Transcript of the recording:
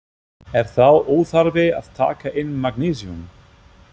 Er þá óþarfi að taka inn magnesíum?